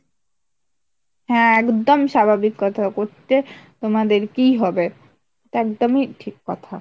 হ্যাঁ একদম স্বাভাবিক কথা, করতে তোমাদেরকেই হবে, এটা একদমই ঠিক কথা